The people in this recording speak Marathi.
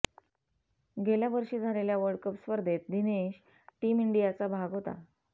गेल्या वर्षी झालेल्या वर्ल्डकप स्पर्धेत दिनेश टीम इंडियाचा भाग होता